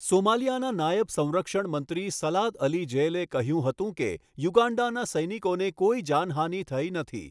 સોમાલિયાના નાયબ સંરક્ષણ મંત્રી સલાદ અલી જેલેએ કહ્યું હતું કે યુગાન્ડાના સૈનિકોને કોઈ જાનહાનિ થઈ નથી.